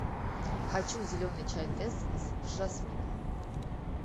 хочу зеленый чай тесс с жасмином